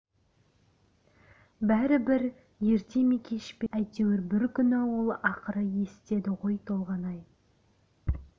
бәрібір ерте ме кеш пе әйтеуір бір күні ол ақыры есітеді ғой толғанай